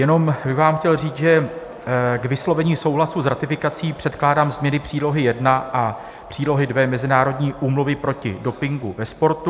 Jenom bych vám chtěl říct, že k vyslovení souhlasu s ratifikací předkládám změny Přílohy I a Přílohy II Mezinárodní úmluvy proti dopingu ve sportu.